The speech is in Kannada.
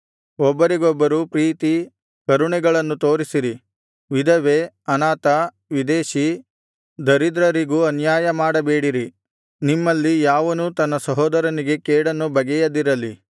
ಒಬ್ಬರಿಗೊಬ್ಬರು ಪ್ರೀತಿ ಕರುಣೆಗಳನ್ನು ತೋರಿಸಿರಿ ವಿಧವೆ ಅನಾಥ ವಿದೇಶಿ ದರಿದ್ರರಿಗೂ ಅನ್ಯಾಯಮಾಡಬೇಡಿರಿ ನಿಮ್ಮಲ್ಲಿ ಯಾವನೂ ತನ್ನ ಸಹೋದರನಿಗೆ ಕೇಡನ್ನು ಬಗೆಯದಿರಲಿ